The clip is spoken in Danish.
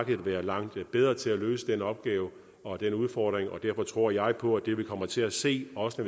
vil være langt bedre til at løse den opgave og den udfordring og derfor tror jeg på at det vi kommer til at se også